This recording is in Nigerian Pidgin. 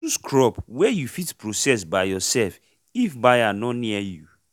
chose crop wey u fit process by urself if buyer nor near you